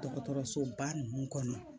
Dɔgɔtɔrɔsoba ninnu kɔnɔ